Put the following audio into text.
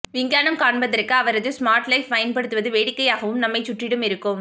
விஞ்ஞானம் காண்பதற்கு அவரது ஸ்மார்ட்ஸைப் பயன்படுத்துவது வேடிக்கையாகவும் நம்மைச் சுற்றிலும் இருக்கும்